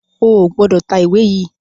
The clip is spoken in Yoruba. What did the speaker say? o gbódò tá ìwé yí!